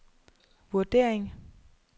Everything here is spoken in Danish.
vurdering